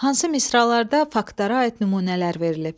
Hansı misralarda faktlara aid nümunələr verilib?